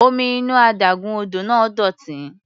Omi inú adágún odò náà dọ̀tí.